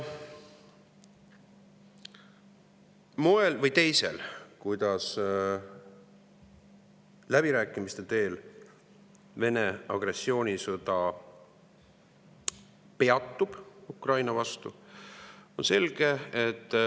Moel või teisel läbirääkimiste teel Vene agressioonisõda Ukraina vastu peatub, see on selge.